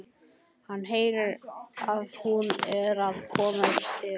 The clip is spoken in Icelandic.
Hann heyrir að hún er að koma upp stigann.